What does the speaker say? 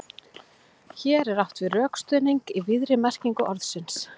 Hér er átt við rökstuðning í víðri merkingu orðsins.